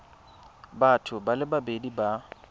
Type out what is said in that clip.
batho ba le babedi ba